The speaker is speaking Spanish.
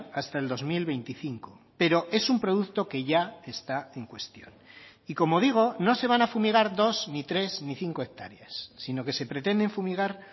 hasta el dos mil veinticinco pero es un producto que ya está en cuestión y como digo no se van a fumigar dos ni tres ni cinco hectáreas sino que se pretenden fumigar